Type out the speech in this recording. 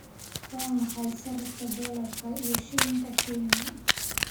waa maxay sarifka dollarka iyo shilinka kenya